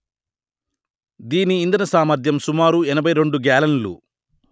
దీని ఇంధన సామర్థ్యం సుమారు ఎనభై రెండు గ్యాలన్లు